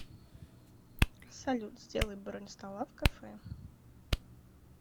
салют сделай бронь стола в кафе